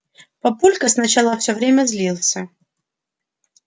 папулька сначала все время злился